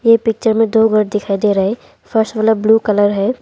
इस पिक्चर में दो घर दिखाई दे रहा है फर्स्ट वाला ब्ल्यू कलर है।